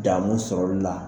Damu sɔrɔli la